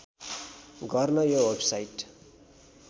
गर्न यो वेबसाइट